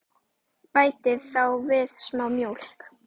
Bætið þá við smá mjólk.